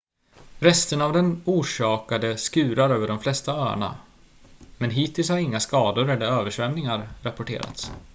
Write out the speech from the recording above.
resterna av den orsakade skurar över de flesta öarna men hittills har inga skador eller översvämningar rapporterats